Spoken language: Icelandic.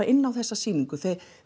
inn á þessa sýningu